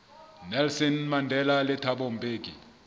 nelson mandela le thabo mbeki